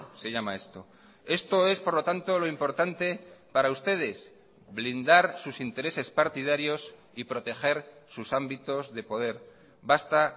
se llama esto esto es por lo tanto lo importante para ustedes blindar sus intereses partidarios y proteger sus ámbitos de poder basta